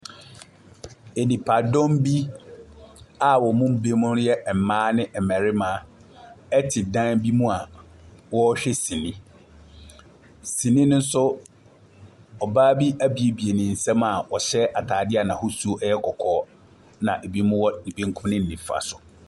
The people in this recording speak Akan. Nnipadɔm bi a wɔn mu binom yɛ mmaa ne mmarima ɛte dan bi mu a wɔrehwɛ sinii. Sinii no nso, ɔbaa bi abuebue ne nsa ɔhyɛ ataadeɛ a n’ahosuo yɛ kɔkɔɔ, na ɛbi wɔ bankum ne nifa so.